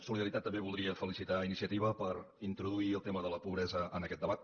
solidaritat també voldria felicitar a iniciativa per introduir el tema de la pobresa en aquest debat